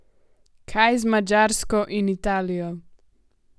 Kaj z Madžarsko in Italijo?